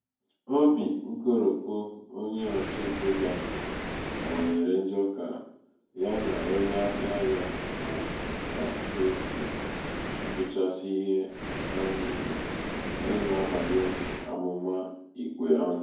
obì nkoròpù onye ọchụntaegō ahụ̀ onye ọchụntaegō ahụ̀ kawànyèrè njọ kà ya nà onye ahiạ̄ yā mā kà e sì atụ̀chasị ihē nà-abànye àmụ̀mà ikwe ọnụ